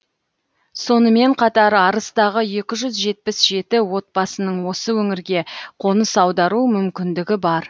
сонымен қатар арыстағы екі жүз жетпіс жеті отбасының осы өңірге қоныс аудару мүмкіндігі бар